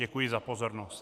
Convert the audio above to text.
Děkuji za pozornost.